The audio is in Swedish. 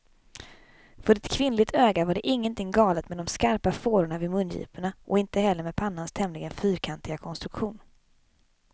För ett kvinnligt öga var det ingenting galet med de skarpa fårorna vid mungiporna, och inte heller med pannans tämligen fyrkantiga konstruktion.